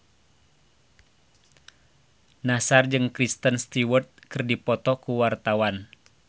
Nassar jeung Kristen Stewart keur dipoto ku wartawan